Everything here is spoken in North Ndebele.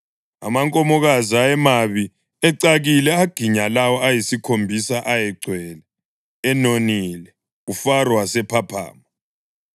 Amankomokazi ayemabi, ecakile aginya lawo ayisikhombisa ayegcwele, enonile. UFaro wasephaphama.